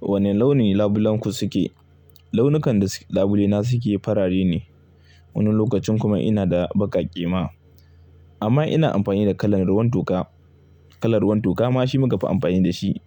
Wane launi labulenku suke? Launikanda labule na suke farare ne. Wani lokacin kuma ina da baƙaƙe ma amma ina amfani da kalar ruwan toka. Kalar ruwan toka ma shi muka fi amfani da shi